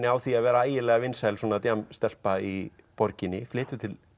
á því að vera ægilega vinsæl í borginni flytur til